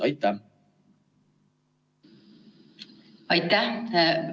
Aitäh!